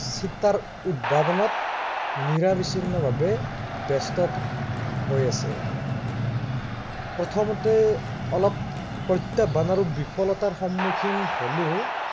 চিটাৰ উদ্ভাৱনত, নিৰৱিচ্ছিন্ন ভাৱে ব্য়স্ত, হৈ আছে। প্ৰথমতে অলপ, প্ৰত্য়াহ্বান আৰু বিফলতাৰ সন্মুখীন হলেও